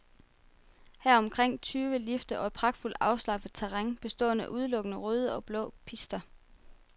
Her er omkring tyve lifte og et pragtfuldt afslappet terræn bestående af udelukkende røde og blå pister.